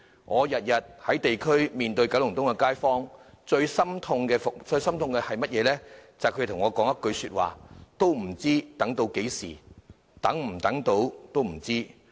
我每天在地區面對九龍東的街坊，感到最心痛的，便是聽到他們的一句話："不知要等到何時，也不知能否等得到"。